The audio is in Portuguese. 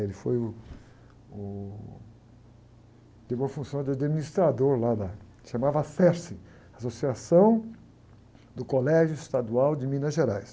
Ele foi uh, uh, teve uma função de administrador lá da, chamava, Associação do Colégio Estadual de Minas Gerais.